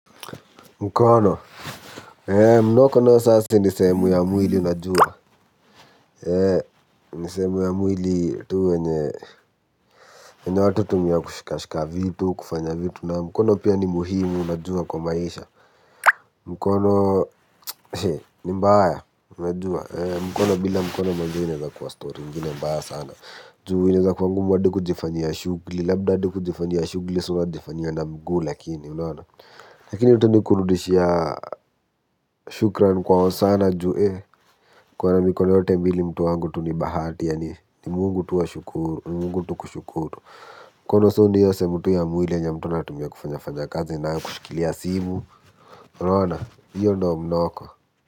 Mkono, mnoko nayo sa si ni sehemu ya mwili unajua yenye watu hutumia kushika shika vitu kufanya vitu nayo. Mkono pia ni muhimu, unajua kwa maisha mkono ni mbaya bila mkono kuwa story ingine mbaya sana. Juu inaeza kuwa ngumu hadi kujiifanyia shughuli, labda hadi kujifanyia shughuli, so unajifanyianga mguu lakini unaona. Lakini tu ni kurudishia shukran kwa hosana ju ee kuwa na mikono yote mbili mtu wangu tu ni bahati. Yaani ni mungu tu kushukuru mkono so ni hio sehemu tu yenye mtu anatumia kufanya fanya kazi nayo kushikilia simu unaona hio ndio mnoko.